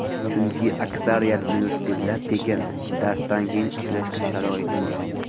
Chunki, aksariyat universitetlar tekin, darsdan keyin ishlashga sharoit bor.